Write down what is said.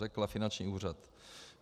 Řekla finanční úřad.